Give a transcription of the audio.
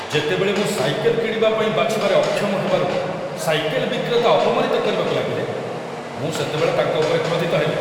ଯେତେବେଳେ ମୁଁ ସାଇକେଲ କିଣିବା ପାଇଁ ବାଛିବାରେ ଅକ୍ଷମ ହେବାରୁ ସାଇକେଲ ବିକ୍ରେତା ଅପମାନନିତ କରିବାକୁ ଲାଗିଲେ, ମୁଁ ସେତେବେଳେ ତାଙ୍କ ଉପରେ କ୍ରୋଧିତ ହେଲି